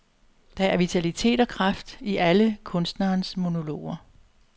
Der er vitalitet og kraft i alle kunstnerens monologer.